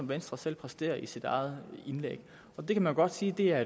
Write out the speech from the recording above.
venstre selv præsterer i sit eget indlæg det kan man godt sige er